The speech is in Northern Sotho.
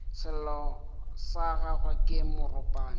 sello sa gagwe ke moropana